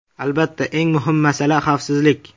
Albatta, eng muhim masala xavfsizlik.